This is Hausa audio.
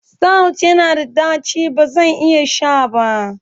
Stout yana da ɗaci, ba zan iya sha ba.